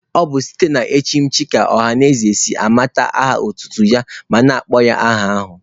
Ọ bụ site na echimechi ka ọhanaeze si anabata aha otutu onye ma kpọba ya aha ahụ.